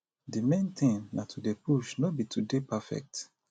di main thing na to dey push no be to dey perfect